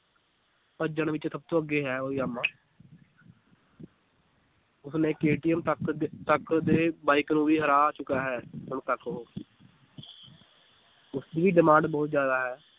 ਭੱਜਣ ਵਿੱਚ ਸਭ ਤੋਂ ਅੱਗੇ ਹੈ ਉਹ ਜਾਮਾ ਉਸਨੇ KTM ਤੱਕ ਦੇ ਤੱਕ ਦੇ ਬਾਈਕ ਨੂੰ ਵੀ ਹਰਾ ਚੁੱਕਾ ਹੈ ਹੁਣ ਤੱਕ ਉਹ ਉਸਦੀ ਵੀ demand ਬਹੁਤ ਜ਼ਿਆਦਾ ਹੈ